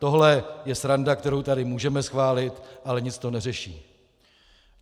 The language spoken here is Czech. Tohle je sranda, kterou tady můžeme schválit, ale nic to neřeší.